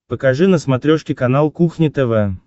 покажи на смотрешке канал кухня тв